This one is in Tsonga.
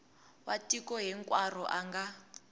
wa tiko hinkwaro a nga